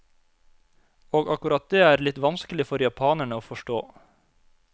Og akkurat det er litt vanskelig for japanerne å forstå.